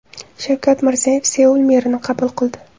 Shavkat Mirziyoyev Seul merini qabul qildi .